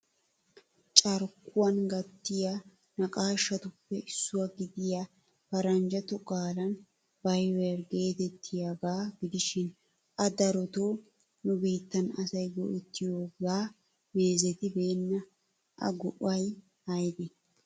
Carkkuwan gattiya naqashshatuppe issuwaa gidiya paranjjato qaalan 'viber' getettiyaaga gidishin a darotoo nu biittan asay go"ettiyooga meezetibeena. A go"ay aybbe?